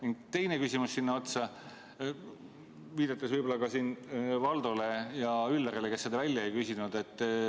Ning teine küsimus sinna otsa, viidates võib-olla siinkohal ka Valdole ja Üllarile, kes seda ära ei küsinud.